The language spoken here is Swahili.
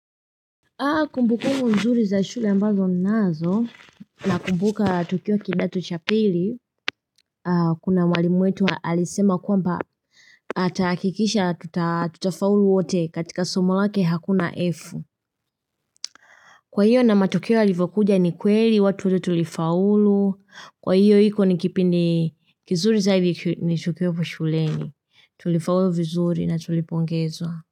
Kumbukumbu nzuri za shule ambazo ninazo Nakumbuka tukiwa kidato cha pili Kuna mwalimu wetu alisema kwamba atahakikisha tutafaulu wote katika somo lake hakuna F, Kwa hiyo na matokeo yalipokuja ni kweli watu wate tulifaulu, kwa hiyo iko ni kipindi kizuri sasa hivi nishuke uko shuleni tulifaulu vizuri na tulipongezwa.